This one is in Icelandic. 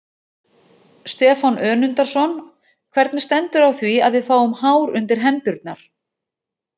Stefán Önundarson: Hvernig stendur á því að við fáum hár undir hendurnar?